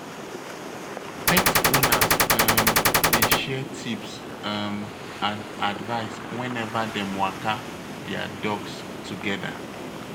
Pet owners um dey share tips um and advice whenever dem waka their dogs together.